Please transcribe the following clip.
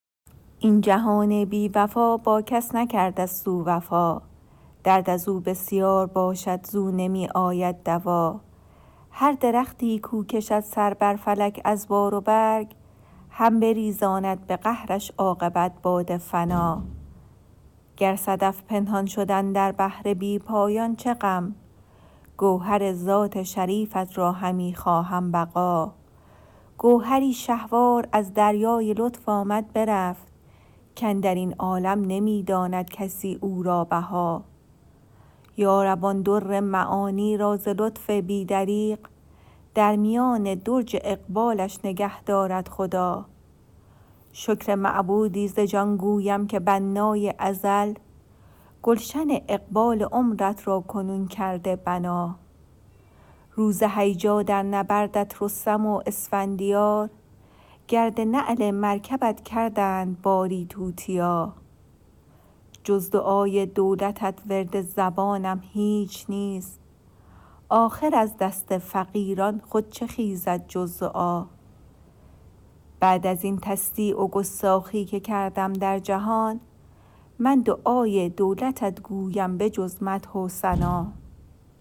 این جهان بی وفا با کس نکرده ست او وفا درد از او بسیار باشد زو نمی آید دوا هر درختی کاو کشد سر بر فلک از بار و برگ هم بریزاند به قهرش عاقبت باد فنا گر صدف پنهان شد اندر بحر بی پایان چه غم گوهر ذات شریفت را همی خواهم بقا گوهری شهوار از دریای لطف آمد برفت کاندر این عالم نمی داند کسی او را بها یارب آن در معانی را ز لطف بی دریغ در میان درج اقبالش نگه دارد خدا شکر معبودی ز جان گویم که بنای ازل گلشن اقبال عمرت را کنون کرده بنا روز هیجا در نبردت رستم و اسفندیار گرد نعل مرکبت کردند باری توتیا جز دعای دولتت ورد زبانم هیچ نیست آخر از دست فقیران خود چه خیزد جز دعا بعد از این تصدیع و گستاخی که کردم در جهان من دعای دولتت گویم بجز مدح و ثنا